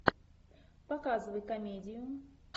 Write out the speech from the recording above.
показывай комедию